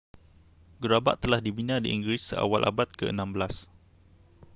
gerabak telah dibina di inggeris seawal abad ke-16